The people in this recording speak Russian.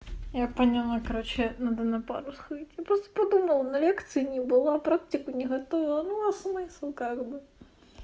я поняла короче надо на пару сходить я просто подумала на лекции не была практику не готовила ну а смысл как бы